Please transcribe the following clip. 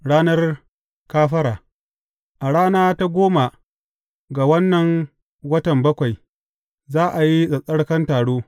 Ranar Kafara A rana ta goma ga wannan watan bakwai, za a yi tsattsarkan taro.